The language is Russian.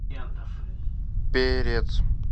перец